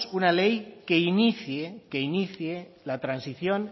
una ley que inicie la transición